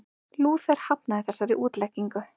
Lúther hafnaði þessari útleggingu.